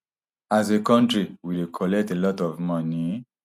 as a kontri we collect a lot of money